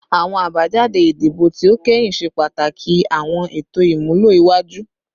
Awọn abajade idibo ti o kẹhin ṣe pataki awọn eto imulo iwaju